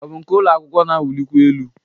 Ọ bụ nke ụlọ akwụkwọ na-awụlikwa elu?